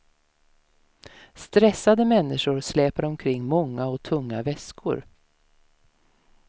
Stressade människor släpar omkring många och tunga väskor.